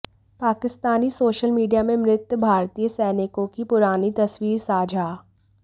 Pakistani social media में मृत भारतीय सैनिकों की पुरानी तस्वीर साझा